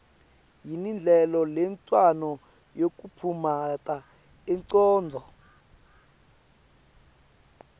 yini ndlela lencono yokuphumuta ingcondvo